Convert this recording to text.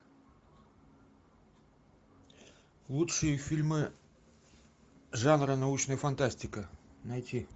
лучшие фильмы жанра научная фантастика найти